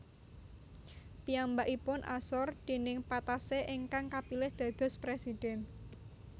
Piyambakipun asor déning Patassé ingkang kapilih dados presiden